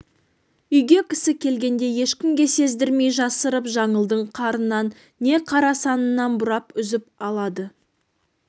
үйге кісі келгенде ешкімге сездірмей жасырып жаңылдың қарынан не қара санынан бұрап үзіп алады